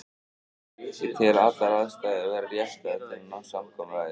Ég tel allar aðstæður vera réttar til að ná samkomulagi.